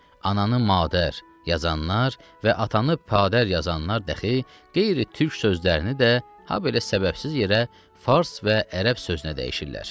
Ananı madər yazanlar və atanı padər yazanlar dəxi qeyri-türk sözlərini də habelə səbəbsiz yerə fars və ərəb sözünə dəyişirlər.